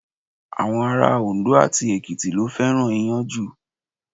Àwọn ará Òndó àti Èkìtì ló fẹ́ràn Iyán jù.